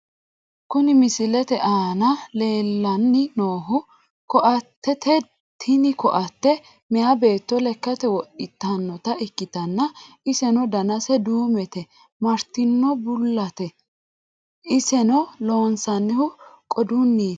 Kuni misilete aana leellanni noohu koattete tini koatte meyaa beetto lekkate wodhitannota ikkitanna, iseno danase duumete martino bullaati , iseno loonsannihu qodunniiti.